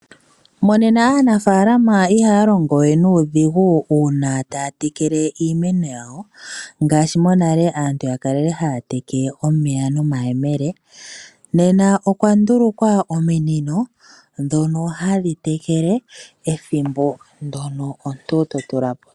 Monena aanafalama ihaya longo we nuudhigu uuna taya tekele iimeno yawo ngaashi monale aantu yali haya tekele iimeno yawo nomayemele nena okwa ndulukwa ominino dhono hadhi tekele ethimbo ndoka totulako.